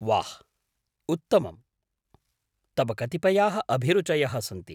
वाह्, उत्तमं, तव कतिपयाः अभिरुचयः सन्ति।